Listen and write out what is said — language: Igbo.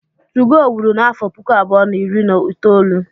2go wiri n'afọ puku abụọ na iri na itoolu.